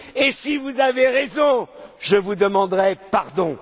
Et si vous avez raison, je vous demanderai pardon.